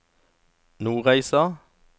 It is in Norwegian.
Nordreisa